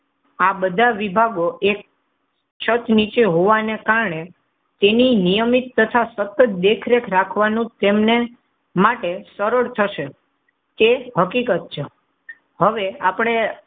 આ બધા વિભાગો એક છતા નીચે હોવાને કારણે તેની નિયમિત તથા સતત દેખરેખ રાખવાનું તેમને માટે સરળ થશે. તે હકીકત છે. હવે આપણે,